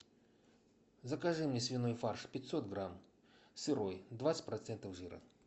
закажи мне свиной фарш пятьсот грамм сырой двадцать процентов жира